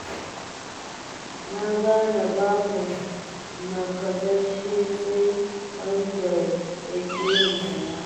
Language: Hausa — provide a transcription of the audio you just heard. Na gane babu nakasashshe sai wanda ya ƙi yin sana'a.